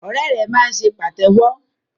Ọrẹ rẹ máa ṣe pàtéwọ́.